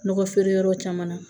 Nɔgɔ feere yɔrɔw caman na